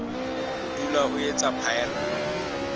ho dula o etsa phaello